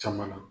Caman na